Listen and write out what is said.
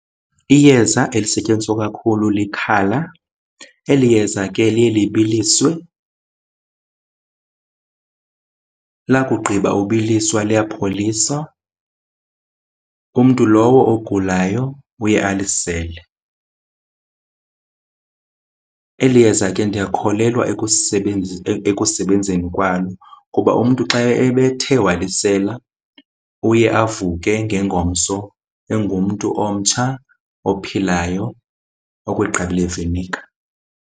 Iyeza elisetyenziswa kakhulu likhala. Eli yeza ke liye libiliswe. Lakugqiba ubiliswa liyapholiswa, umntu lowo ogulayo uye alisele. Eli yeza ke ndiyakholelwa ekusebenzeni kwalo kuba umntu xa ebethe walisela, uye avuke ngengomso engumntu omtsha ophilayo okwegqabi leviniga.